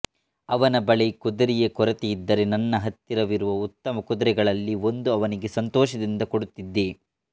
ಅವನ ಬಳಿ ಕುದುರೆಯ ಕೊರತೆಯಿದ್ದರೆ ನನ್ನ ಹತ್ತಿರವಿರುವ ಉತ್ತಮಕುದುರೆಗಳಲ್ಲಿ ಒಂದನ್ನು ಅವನಿಗೆ ಸಂತೋಷದಿಂದ ಕೊಡುತ್ತಿದ್ದೆ